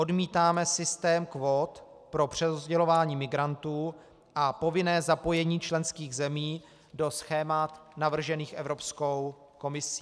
Odmítáme systém kvót pro přerozdělování migrantů a povinné zapojení členských zemí do schémat navržených Evropskou komisí.